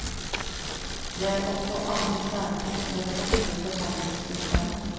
Det er også andre særtrekk ved det norske forhandlingssystemet.